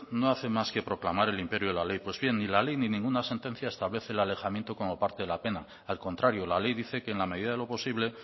no hacen más que proclamar el imperio de la ley pues bien ni la ley ni ninguna sentencia establece el alejamiento como parte de la pena al contrario la ley dice que en la medida de lo posible